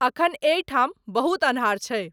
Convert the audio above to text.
अखनि अहि ठाम बहुत अन्हार छै।